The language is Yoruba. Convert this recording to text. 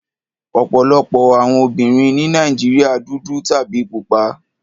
Ọ̀pọ̀lọpọ̀ àwọn obìnrin ní Nàìjíríà dúdú tàbí pupa.